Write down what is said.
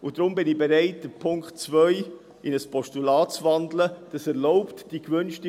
Deshalb bin ich bereit, den Punkt 2 in ein Postulat zu wandeln.